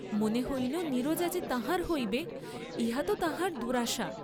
মনে হইল নীরজা যে তাঁহার হইবে, ইহা তো তাঁহার দুরাশা।